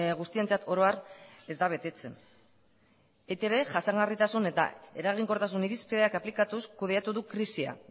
guztientzat oro har ez da betetzen eitb jasangarritasun eta eraginkortasun irizpideak aplikatuz kudeatu du krisia